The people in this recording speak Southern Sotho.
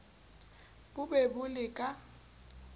bo be bo le ka